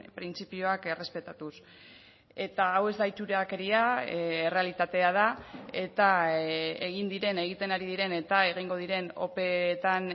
printzipioak errespetatuz eta hau ez da itxurakeria errealitatea da eta egin diren egiten ari diren eta egingo diren opeetan